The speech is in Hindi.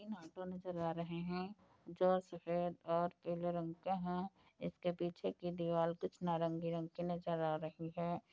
तीन ऑटो नज़र आ रहे हैं जो सफे़द और पीले रंग के हैं इसके पीछे की दीवाल कुछ नारंगी रंग की नज़र आ रही है।